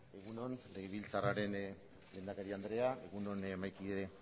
egun on legebiltzarraren lehendakari andrea egun on mahaikide